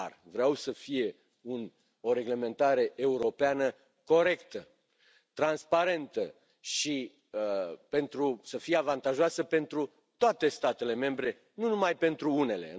Dar vreau să fie o reglementare europeană corectă, transparentă și să fie avantajoasă pentru toate statele membre, nu numai pentru unele.